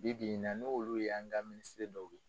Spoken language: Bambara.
Bi bi in na n'olu ye an ka Minisiri dɔw ye.